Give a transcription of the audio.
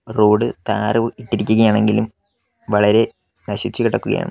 Road ടാറോ ഇട്ടിരിക്കുകയാണെങ്കിലും വളരെ നശിച്ചു കിടക്കുകയാണ്.